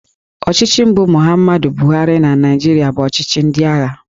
Ọchịchị mbụ Muhammadu Buhari na Naịjirịa bụ ọchịchị ndị agha